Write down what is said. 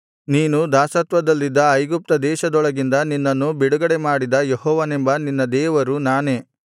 ನೀನು ದಾಸತ್ವದಲ್ಲಿದ್ದ ಐಗುಪ್ತದೇಶದೊಳಗಿಂದ ನಿನ್ನನ್ನು ಬಿಡುಗಡೆಮಾಡಿದ ಯೆಹೋವನೆಂಬ ನಿನ್ನ ದೇವರು ನಾನೇ